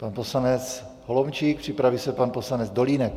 Pan poslanec Holomčík, připraví se pan poslanec Dolínek.